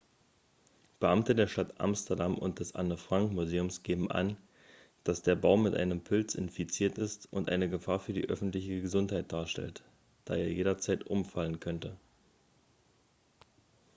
beamte der stadt amsterdam und des anne-frank-museums geben an dass der baum mit einem pilz infiziert ist und eine gefahr für die öffentliche gesundheit darstellt da er jederzeit umfallen könne